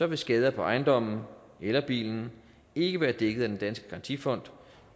vil skader på ejendommen eller bilen ikke være dækket af den danske garantifond